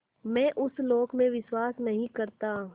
मैं उस लोक में विश्वास नहीं करता